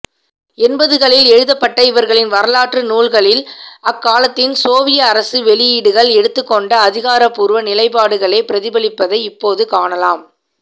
எண்பதுகளில் எழுதப்பட்ட இவர்களின் வரலாற்று நூல்களில் அக்காலத்தில் சோவியத் அரசு வெளியீடுகள் எடுத்துக்கொண்ட அதிகாரபூர்வ நிலைபாடுகளே பிரதிபலிப்பதை இப்போது காணலாம்